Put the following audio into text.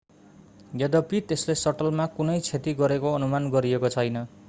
यद्यपि त्यसले सटलमा कुनै क्षति गरेको अनुमान गरिएको छैन